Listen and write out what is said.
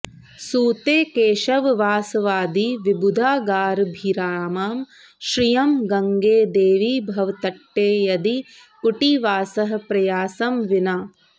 सूते केशववासवादिविबुधागाराभिरामां श्रियं गङ्गे देवि भवत्तटे यदि कुटीवासः प्रयासं विना